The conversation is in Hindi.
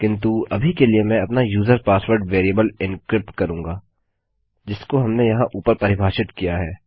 किन्तु अभी के लिए मैं अपना यूजर पासवर्ड वेरिएबल एन्क्रिप्ट करूँगा जिसको हमने यहाँ ऊपर परिभाषित किया है